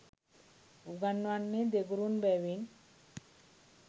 උගන්වන්නේ දෙගුරුන් බැවින්